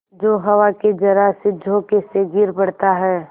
जो हवा के जरासे झोंके से गिर पड़ता है